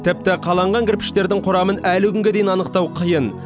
тіпті қаланған кірпіштердің құрамын әлі күнге дейін анықтау қиын